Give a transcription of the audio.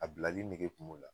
A bilali nɛge kun b'ola